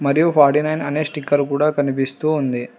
మరియు ఫార్టీనైన్ అనే స్టిక్కర్ కూడా కనిపిస్తూ ఉంది.